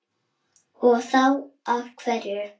Og þá af hverju?